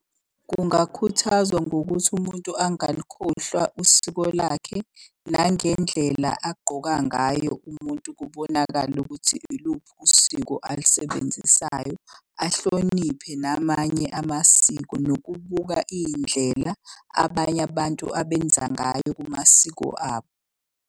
Kungakhuthazwa ngokuthi umuntu angalukhohlwa usiko lakhe. Nangendlela agqoka ngayo umuntu kubonakale ukuthi iluphi usiko alusebenzisayo. Ahloniphe namanye amasiko nokubuka iy'ndlela abanye abantu abenza ngayo kumasiko abo.